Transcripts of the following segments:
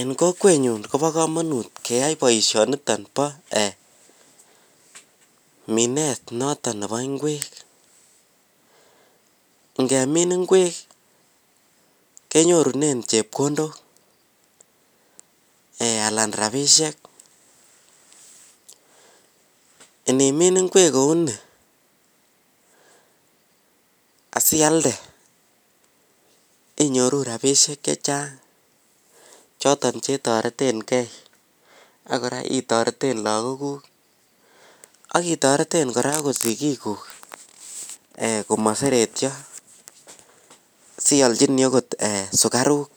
En kokwenyun kobokomonut keyai boishoniton boo ee minet noton nebo inkwek kenyorunen chepkondok alan en rabishek, inimin inkwek kouni asialden inyoru rabishek choton chetoretengei ak koraa chetoreten lagokuk ak itoreten koraa sigikuk komoseretio siolchini okot sukaruk,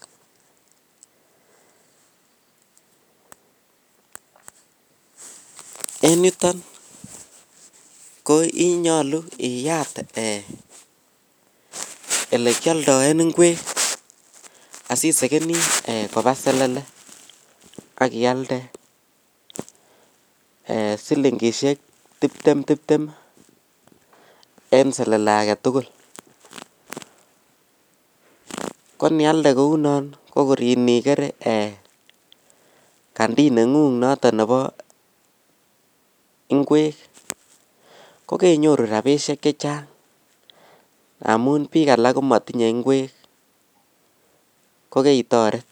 en yuton konyolu iyat ee elekioltoen inkwek asisekeni kobaa selele ak ialde ee silingishek tiptem tiptem en selele aketugul konialde kounon kokor inikere kandi nengunh noton nebo inkwek kokeinyoru rabishek chechang ngamun bik alak komotinye inkwek kokeitoret.